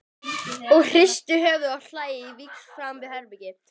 Og hrista höfuðið og hlæja á víxl framan við herbergið.